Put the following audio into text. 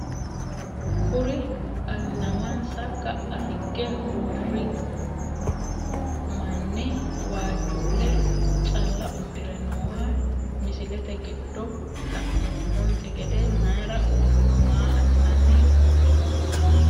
Kuri alnamssa ka`a higge uuri o mani waajule calla udire nooha misilete giddo lanoomonte gede mayira uurino maa asani uurino?